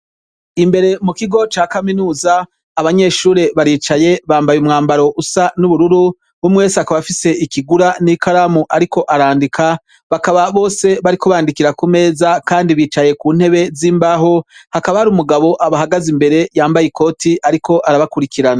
Imbere mu kigo ca kaminuza ,abanyeshure baricaye bambaye umwambaro usa n'ubururu umwe wese akaba afise ikigura n'ikaramu ariko arandika ,bakaba bose bariko bandikira ku meza Kandi bicaye ku ntebe z'imbaho hakaba hari umugabo abahagaze imbere yambaye ikoti ariko arabakurikirana.